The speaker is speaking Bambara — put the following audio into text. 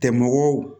Tɛ mɔgɔw